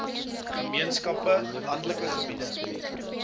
gemeenskappe landelike gebiede